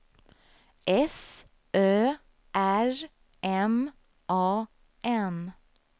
S Ö R M A N